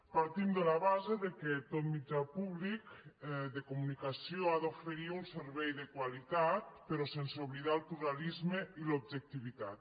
partim de la base que tot mitjà públic de comunicació ha d’oferir un servei de qualitat però sense oblidar el pluralisme i l’objectivitat